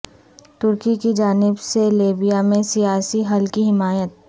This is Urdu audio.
ترکی کی جانب سے لیبیا میں سیاسی حل کی حمایت